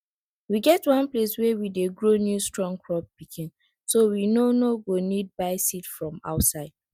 we get one place wey we dey grow new strong crop pikin so we no no go need buy seed from outside